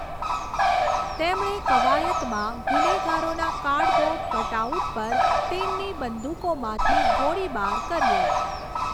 તેમણે કવાયતમાં ગુનેગારોના કાર્ડબોર્ડ કટઆઉટ પર તેમની બંદૂકોમાંથી ગોળીબાર કર્યો.